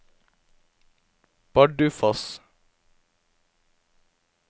Bardufoss